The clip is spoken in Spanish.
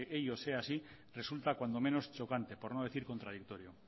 ello sea así resulta cuanto menos chocante por no decir contradictorio